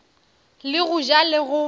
le go ja le go